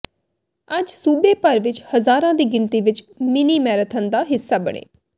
ਅੱਜ ਸੂਬੇ ਭਰ ਵਿੱਚ ਹਜ਼ਾਰਾਂ ਦੀ ਗਿਣਤੀ ਵਿੱਚ ਮਿੰਨੀ ਮੈਰਾਥਨ ਦਾ ਹਿੱਸਾ ਬਣੇ